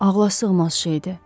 Ağlasığmaz şeydir!